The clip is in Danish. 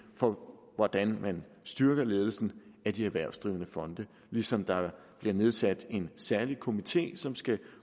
for hvordan man styrker ledelsen af de erhvervsdrivende fonde ligesom der bliver nedsat en særlig komité som skal